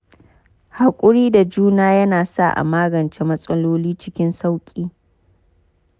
Haƙuri da juna yana sa a magance matsaloli cikin sauƙi.